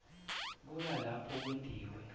kuya lapho kwentiwe